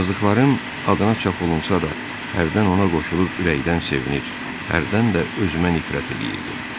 Yazdıqlarım adına çap olunsa da, hərdən ona qoşulub ürəkdən sevinir, hərdən də özümə nifrət eləyirdim.